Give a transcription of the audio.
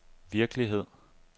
virkelighed